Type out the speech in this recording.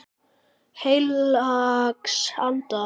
Heilags Anda.